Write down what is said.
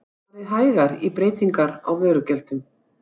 Farið hægar í breytingar á vörugjöldum